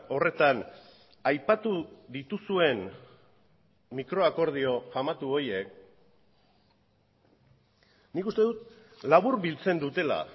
horretan aipatu dituzuen mikroakordio famatu horiek nik uste dut laburbiltzen dutela